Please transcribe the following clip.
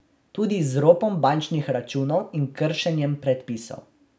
Tudi z ropom bančnih računov in kršenjem predpisov.